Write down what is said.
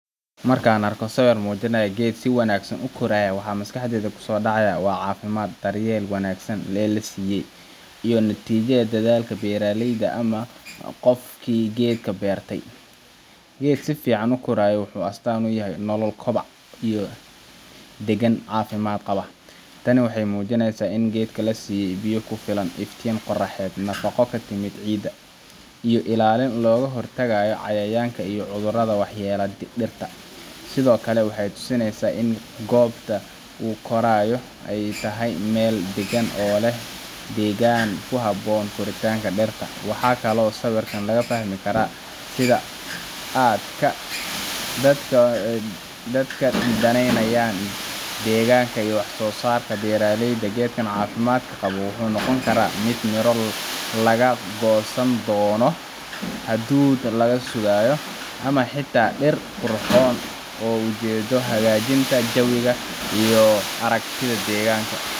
Marka aan arko sawir muujinaya geed si wanaagsan u koraya, waxa maskaxdayda ku soo dhacaya caafimaadka, daryeelka wanaagsan ee la siiyey, iyo natiijada dadaalka beeraleyda ama qofkii geedka beertay. Geed si fiican u koraaya wuxuu astaan u yahay nolol, kobac, iyo degaan caafimaad qaba. Tani waxay muujinaysaa in geedka la siiyey biyo ku filan, iftiin qoraxeed, nafaqo ka timid ciidda, iyo ilaalin looga hortagayo cayayaanka iyo cudurrada waxyeelleeya dhirta. Sidoo kale waxay tusinaysaa in goobta uu ku korayo ay tahay meel deggan oo leh deegaanka ku habboon koritaanka dhirta. Waxaa kaloo sawirkan laga fahmi karaa sida aadka ah ee dadka u daneynayaan deegaanka iyo wax-soo-saarka beeraleyda. Geedkan caafimaadka qaba wuxuu noqon karaa mid miro laga goosan doono, hadhuudh la sugayo, ama xitaa dhir qurxoon oo ujeeddo u leh hagaajinta jawiga iyo aragtida deegaanka.